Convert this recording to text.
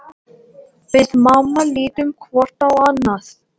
Við mamma lítum hvort á annað.